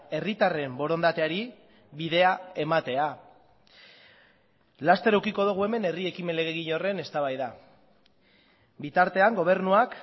herritarren borondateari bidea ematea laster edukiko dugu hemen herri ekimen legegile horren eztabaida bitartean gobernuak